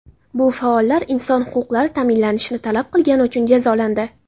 Bu faollar inson huquqlari ta’minlanishini talab qilgani uchun jazolandi.